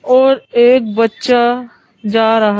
और एक बच्चा जा रहा।